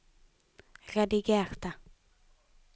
redigerte